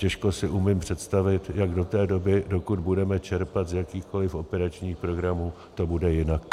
Těžko si umím představit, jak do té doby, dokud budeme čerpat z jakýchkoli operačních programů, to bude jinak.